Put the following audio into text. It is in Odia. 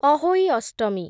ଅହୋଇ ଅଷ୍ଟମୀ